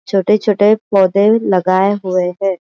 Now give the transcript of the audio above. छोटे छोटे पौधे लगाये हुए है।